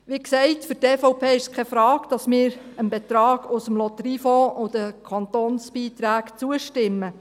Wie gesagt, für die EVP ist es keine Frage, dass wir dem Beitrag aus dem Lotteriefonds und den Kantonsbeiträgen zustimmen.